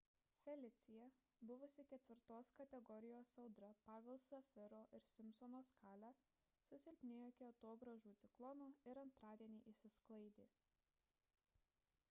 felicija buvusi 4 kategorijos audra pagal safiro ir simpsono skalę susilpnėjo iki atogražų ciklono ir antradienį išsisklaidė